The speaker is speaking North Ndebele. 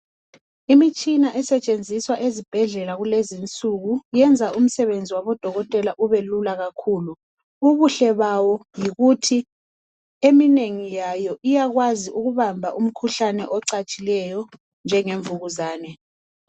Imitshina asetshenziswa ezibhedlela kulezinsuku iyenza umsebenzi wabo dokotela ubelula kakhulu. Ubuhle bawo yikuthi eminengi yayo iyakwazi ukubamba umkhuhlane ocatshileyo njenge mvukuzane.